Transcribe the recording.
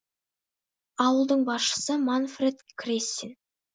ауылдың басшысы манфред крессин